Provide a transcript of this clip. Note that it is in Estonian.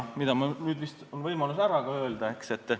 Mul on nüüd vist võimalus need välja öelda, eks?